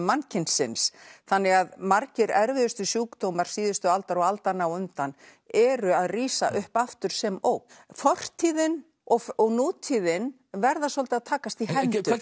mannkynsins þannig að margir erfiðustu sjúkdómar síðustu aldar og aldanna á undan eru að rísa upp aftur sem ógn fortíðin og og nútíðin verða svolítið að takast í hendur